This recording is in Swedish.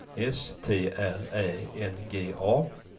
S T R Ä N G A